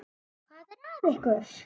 Hvað er að ykkur?